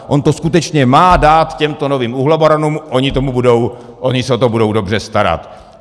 On to skutečně má dát těmto novým uhlobaronům, oni se o to budou dobře starat.